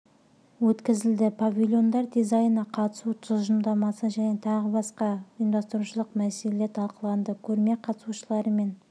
өткізілді павильондар дизайны қатысу тұжырымдамасы және тағы да басқа ұйымдастырушылық мәселелер талқыланды көрме қатысушылары мен